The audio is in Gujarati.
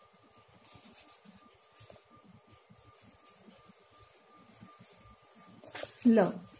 લ